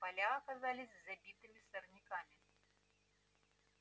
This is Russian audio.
поля оказались забитыми сорняками